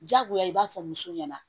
Diyagoya i b'a fɔ muso ɲɛna